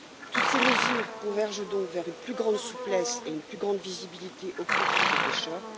Toutes ces mesures convergent donc vers une plus grande souplesse et une plus grande visibilité au profit des pêcheurs.